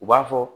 U b'a fɔ